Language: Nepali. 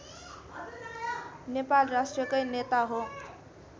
नेपाल राष्ट्रकै नेता हो